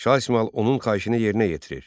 Şah İsmayıl onun xahişini yerinə yetirir.